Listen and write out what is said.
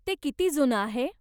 ते किती जुनं आहे?